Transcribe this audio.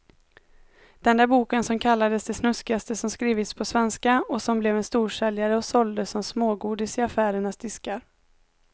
Den där boken som kallades det snuskigaste som skrivits på svenska och som blev en storsäljare och såldes som smågodis i affärernas diskar.